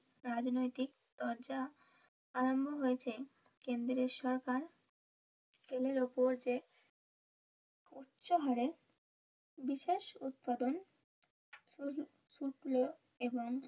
রাজনৈতিক তরজা আরম্ভ হয়েছে কেন্দ্রের সরকার তেলের উপর যে উচ্চ হারে বিশেষ উৎপাদন শুক্ল এবং